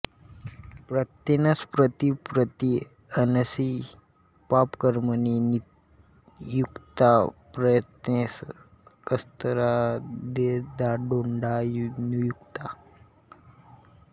प्रत्येनस प्रति प्रति एनसि पापकर्मणि नियुक्ताः प्रत्येनसः तस्करादिदंडनादौ नियुक्ताः